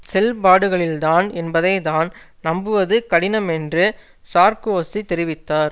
செல்பாடுகளில்தான் என்பதை தான் நம்புவது கடினம் என்று சார்க்கோசி தெரிவித்தார்